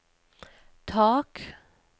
tak